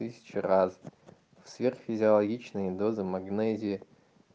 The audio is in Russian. тысячи разных сверх физиологичные дозы магнезии